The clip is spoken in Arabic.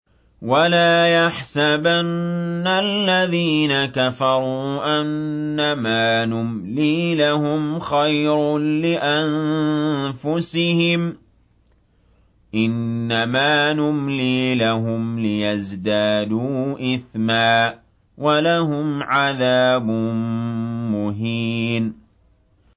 وَلَا يَحْسَبَنَّ الَّذِينَ كَفَرُوا أَنَّمَا نُمْلِي لَهُمْ خَيْرٌ لِّأَنفُسِهِمْ ۚ إِنَّمَا نُمْلِي لَهُمْ لِيَزْدَادُوا إِثْمًا ۚ وَلَهُمْ عَذَابٌ مُّهِينٌ